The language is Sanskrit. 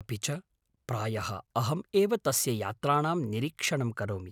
अपि च, प्रायः अहं एव तस्य यात्राणां निरीक्षणं करोमि।